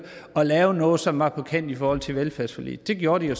at lave noget som var på kanten i forhold til velfærdsforliget det gjorde de jo